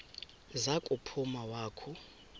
za kuphuma wakhu